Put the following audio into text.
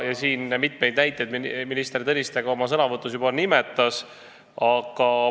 Minister Tõniste juba ka nimetas mitut näidet oma sõnavõtus.